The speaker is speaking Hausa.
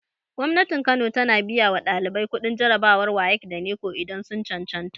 Gwamnatin kano tana biya wa ɗalibai kuɗin jarabawar wayek da neko idan sun cancanta